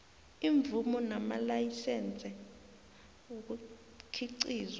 iimvumo namalayisense ukukhiqizwa